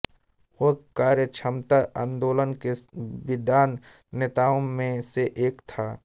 वह कार्यक्षमता आंदोलन के विद्वान नेताओं में से एक था